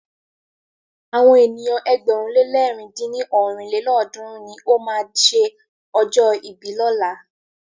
Àwọn ènìyàn ẹgbẹ̀rún le lẹ̀rin dín ní ọ́rin lélọ́ọ̀dúnrún ni o máa ṣe ọjọ́ ìbí lọ́la.